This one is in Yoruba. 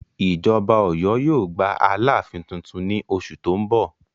Ìjọba Ọ̀yọ́ yóò gba alááfín tuntun ní oṣù tó ń bọ̀